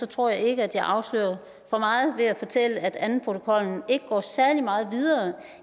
tror jeg ikke at jeg afslører for meget ved at fortælle at andenprotokollen ikke går særlig meget videre